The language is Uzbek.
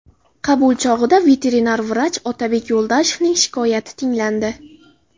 Qabul chog‘ida veterinar vrach Otabek Yo‘ldoshevning shikoyati tinglandi.